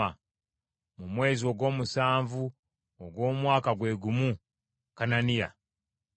Mu mwezi ogw’omusanvu ogw’omwaka gwe gumu, Kananiya n’afa.